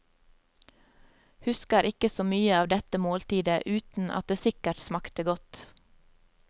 Husker ikke så mye av dette måltidet, uten at det sikkert smakte godt.